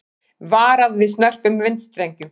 Varað við snörpum vindstrengjum